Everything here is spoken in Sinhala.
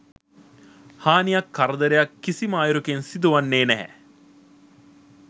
හානියක් කරදරයක් කිසිම අයුරකින් සිදුවන්නේ නැහැ.